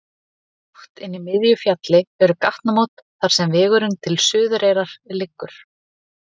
Djúpt inni í miðju fjalli eru gatnamót þar sem vegurinn til Suðureyrar liggur.